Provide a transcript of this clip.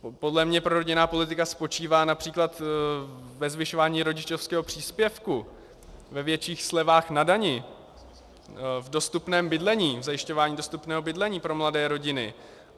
Podle mě prorodinná politika spočívá například ve zvyšování rodičovského příspěvku, ve větších slevách na daních, v dostupném bydlení, v zajišťování dostupného bydlení pro mladé rodiny.